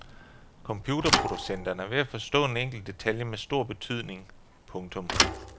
Computerproducenterne er ved at forstå en enkelt detalje med stor betydnig. punktum